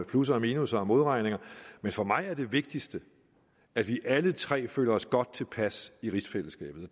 plusser og minusser og modregninger men for mig er det vigtigste at vi alle tre føler os godt tilpas i rigsfællesskabet